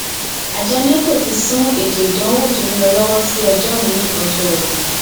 àjọ neco ti sún ètò ìdánwò tó ń lọ lọwọ sí ọjọ miin ọjọọre